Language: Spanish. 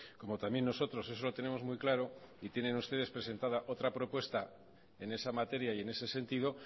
como también nosotros eso lo tenemos muy claro y tienen ustedes presentada otra propuesta en esa materia y en ese sentido